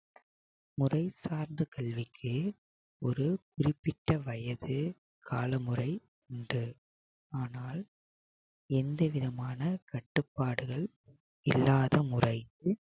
முறை சார்ந்த கல்விக்கு ஒரு குறிப்பிட்ட வயது காலமுறை உண்டு ஆனால் எந்தவிதமான கட்டுப்பாடுகள் இல்லாத முறைக்கு